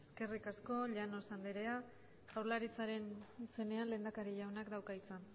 eskerrik asko llanos andrea jaurlaritzaren izenean lehendakari jaunak dauka hitza